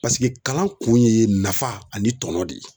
kalan kun ye nafa ani tɔnɔ de ye.